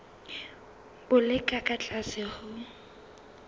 bo le ka tlase ho